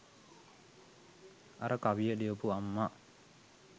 අර කවිය ලියපු අම්මා